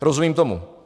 Rozumím tomu.